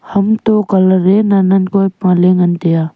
ham toh colour a nen kua a pale ngan tai a.